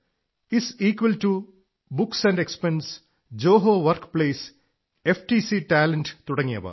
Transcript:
is equal to books expense Zoho work place FTC talent തുടങ്ങിയവ